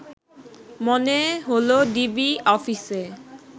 মনে হলো ডিবি অফিসে